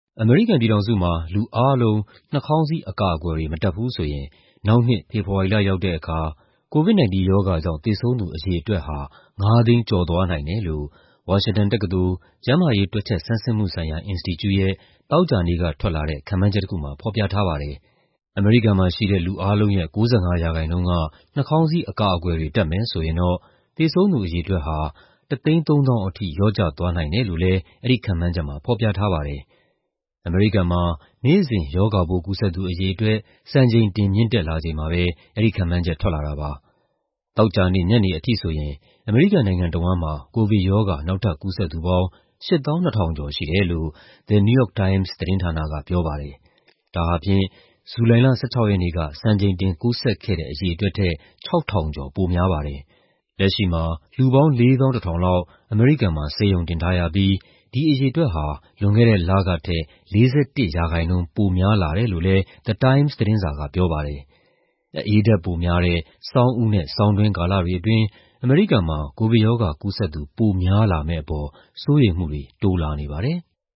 အမေရိကန်ပြည်ထောင်စုမှာ လူအားလုံး နှာခေါင်းစည်း အကာအကွယ်တွေ မတပ်ဘူးဆိုရင် နောက်နှစ် ဖေဖော်ဝါရီလရောက်တဲ့အခါ COVID-19 ရောဂါကြောင့် သေဆုံးသူ အရေအတွက်ဟာ ၅၀၀,၀၀၀ ကျော်သွားနိုင်တယ်လို့ ဝါရှင်တန်တက္ကသိုလ်၊ ကျန်းမာရေး တွက်ချက်ဆန်းစစ်မှုဆိုင်ရာ အင်စတီကျုရဲ့ သောကြာနေ့က ထွက်လာတဲ့ ခန့်မှန်းချက်တခုမှာ ဖော်ပြထားပါတယ်။ အမေရိကန်မှာရှိတဲ့ လူအားလုံးရဲ့ ၉၅ ရာခိုင်နှုန်းက နှာခေါင်းစည်း အကာအကွယ်တွေ တပ်မယ်ဆိုရင်တော့ သေဆုံးသူ အရေအတွက်ဟာ ၁၃၀,၀၀၀ ထိ လျော့ကျသွားနိုင်တယ်လို့လည်း အဲဒီခန့်မှန်းချက်မှာ ဖော်ပြထားပါတယ်။ အမေရိကန်မှာ နေ့စဉ် ရောဂါပိုးကူးစက်သူ အရေအတွက် စံချိန်တင် မြင့်တက်လာချိန်မှာပဲ အဲဒီခန့်မှန်းချက် ထွက်လာတာပါ။ သောကြာနေ့ညနေအထိဆိုရင် အမေရိကန်နိုင်ငံတဝန်းမှာ ကိုဗစ်ရောဂါ နောက်ထပ်ကူးစက်သူပေါင်း ၈၂,၀၀၀ ကျော်ရှိတယ်လို့ The New York Times သတင်းဌာနက ပြောပါတယ်။ ဒါဟာဖြင့် ဇူလိုင်လ ၁၆ ရက်နေ့က စံချိန်တင် ကူးစက်ခဲ့တဲ့ အရေအတွက်ထက် ၆,၀၀၀ ကျော် ပိုများပါတယ်။ လက်ရှိမှာ လူပေါင်း ၄၁,၀၀၀ လောက် အမေရိကန်မှာ ဆေးရုံတင်ထားရပြီး ဒီအရေအတွက်ဟာ လွန်ခဲ့တဲ့လကထက် ၄၁ ရာခိုင်နှုန်း ပိုများလာတယ်လို့လည်း The Times သတင်းစာက ပြောပါတယ်။ အအေးဓာတ်ပိုများတဲ့ ဆောင်းဦးနဲ့ ဆောင်းတွင်းကာလတွေအတွင်း အမေရိကန်မှာ ကိုဗစ်ရောဂါကူးစက်သူ ပိုများလာမယ့်အပေါ် စိုးရိမ်မှုတွေ တိုးလာနေပါတယ်။